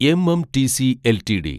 MMTC LTD